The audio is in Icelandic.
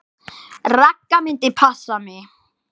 Ragga myndi passa mig.